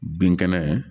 Bin kɛnɛ